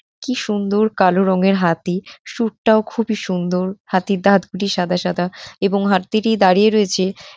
কি সুন্দর কালো রঙের হাতি । সুরটাও খুবই সুন্দর। হাতির দাঁত দুটি সাদা সাদা এবং হাততিটি দাঁড়িয়ে রয়েছে ।